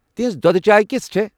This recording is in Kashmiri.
تِژھ دۄدٕ چاے كِژھ چھےٚ ؟